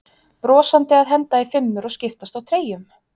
Brosandi að henda í fimmur og skiptast á treyjum?